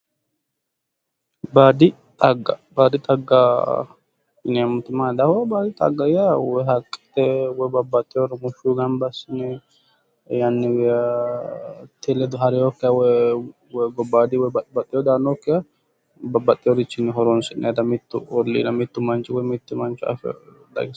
Baadi xagga baadi xagga yineemmoti baadi xagga yaa haqqe babbaxxeyo rumushsho gamba assine yannate ledo hareyookkiha gobbaadi woyi babbaxeyoowi daannoha hironsi'nayiiha mittu manchi hatto